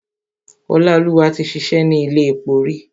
Ọláolúwa ti ṣìṣẹ́ ni ilé epo rí.